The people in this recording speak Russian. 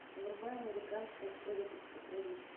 врубай американская история преступлений